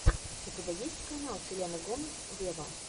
у тебя есть канал селены гомес вево